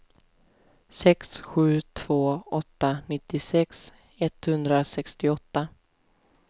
sex sju två åtta nittiosex etthundrasextioåtta